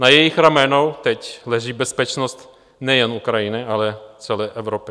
Na jejich ramenou teď leží bezpečnost nejen Ukrajiny, ale celé Evropy.